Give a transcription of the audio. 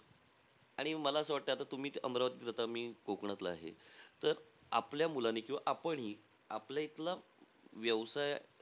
आणि मला असं वाटतं, तुम्ही अमरावतीला राहता. मी कोकणातला आहे. तर, आपल्या मुलांनी किंवा आपणही आपल्या इथला व्यवसाय,